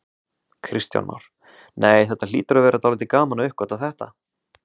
Kristján Már: Nei, þetta hlýtur að vera dálítið gaman að uppgötva þetta?